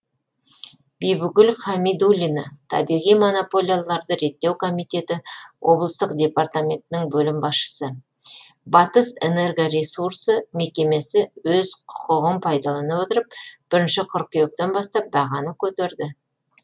бибігүл хамидуллина табиғи монополияларды реттеу комитеті облыстық департаментінің бөлім басшысы батыс энерго ресурсы мекемесі өз құқығын пайдалана отырып бірінші қыркүйектен бастап бағаны көтерді